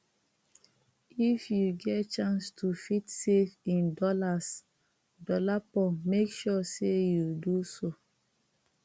if yu get chance to fit safe in dollarsdolapo mek sure sey yu do so